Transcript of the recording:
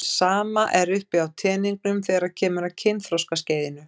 Sama er uppi á teningnum þegar kemur að kynþroskaskeiðinu.